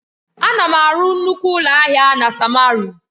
Ana m arụ nnukwu ụlọ ahịa na samaru.